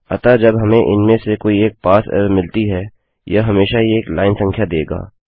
अतः जब हमें इनमें से कोई एक पारसे एरर मिलती है यह हमेशा ही एक लाइन संख्या देगा